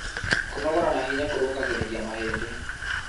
Kũnogora na hinya kũrũngagĩrĩrĩa mahĩndĩ